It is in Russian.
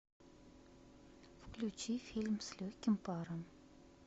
включи фильм с легким паром